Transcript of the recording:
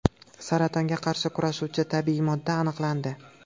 Saratonga qarshi kurashuvchi tabiiy modda aniqlandi.